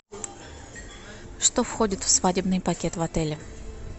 что входит в свадебный пакет в отеле